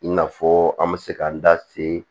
I n'a fɔ an bɛ se k'an da se